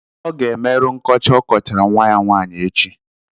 Ọ ga-emerụ nkọcha okọchara nwa ya nwaanyị echi.